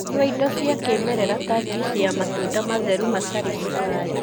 Nyua indo cia kĩmerera ta juisi ya matunda matheru matarĩ cukari.